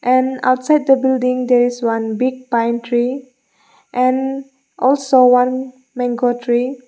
and outside the building there is one big pine tree and also one mango tree.